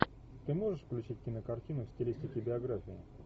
ты можешь включить кинокартину в стилистике биография